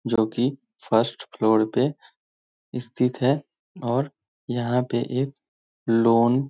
जो कि first floor पे स्थित है और यहाँ पे एक लॉन --